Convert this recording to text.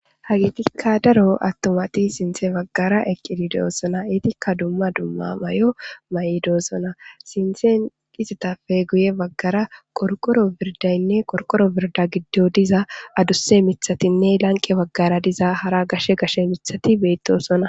Haytika daro atumati sinthe bagara eqidi de'osona, etika dumma dumma mayo mayidosona, sintheni izetappe guye bagara qorqoro birdayne qorqoro birda gidon diza adusa mithatinne hara lanqe bagara diza gashe gashe mithati betosona.